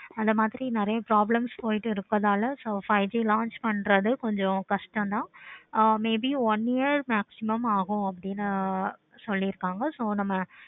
அந்த மாதிரி நெறைய problems போய்கிட்டு இருக்கனால இன்னைக்கே launch பண்றது கொஞ்சம் கஷ்டம் ஆஹ் may be one year ஆகும் அப்படின்னு சொல்லிருக்காங்க so நம்ம